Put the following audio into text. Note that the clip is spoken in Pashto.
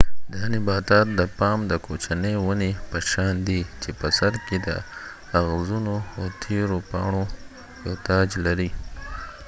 دا نباتات د پام د کوچنی ونی په شان دي چې په سر کې د اغزنو او تیرو پاڼو یو تاج لري